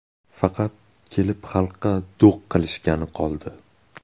Faqat kelib xalqqa do‘q qilishgani qoldi.